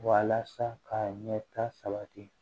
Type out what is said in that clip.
Walasa ka ɲɛta sabati